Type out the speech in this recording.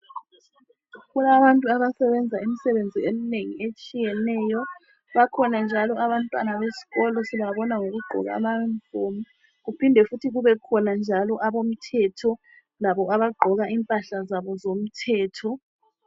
Kulabantu abasebenza imisebenzi eminengi etshiyeneyo bakhona njalo abantwana besikolo sibabona ngokugqoka ama unifomu kuphinde futhi kubekhona njalo abomthetho labo abagqoka impahla zabo zomthetho